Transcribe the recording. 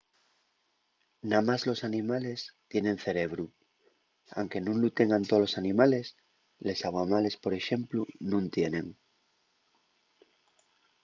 namás los animales tienen cerebru anque nun lu tengan tolos animales; les aguamales por exemplu nun tienen